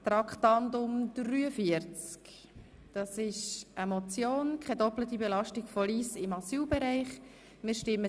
Zuerst stimmen wir über Geschäft 2017.RRGR.237, die Motion 100-2017 Rudin ab;